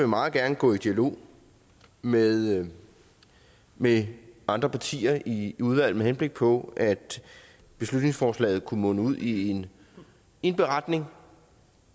meget gerne gå i dialog med med andre partier i udvalget med henblik på at beslutningsforslaget kunne munde ud i en beretning